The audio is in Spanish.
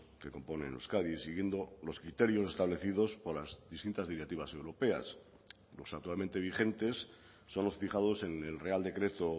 que componen euskadi siguiendo los criterios establecidos por las distintas directivas europeas los actualmente vigentes son los fijados en el real decreto